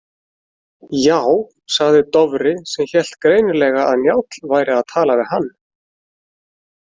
Já, sagði Dofri sem hélt greinilega að Njáll væri að tala við hann.